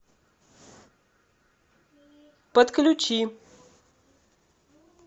подключи